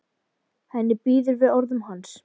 Henni býður við orðum hans.